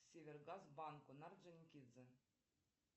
север газ банку на орджоникидзе